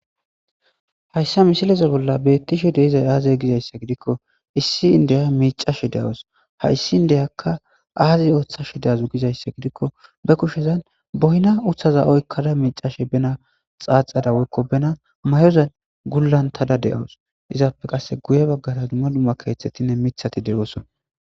Ha issa misilaza bolla be'etishe dizay aze giza gididko issi indde miicashe dawusu. Ha issi inddekka aze ottashe giza gididiko ba kushan boyna uttida oykkaara micashe boyna tsatsara woykko binna mayoza gulletada de'awusu. Izappe qassi guye bagaara dumma dumma keetatinne mitati de'awusu.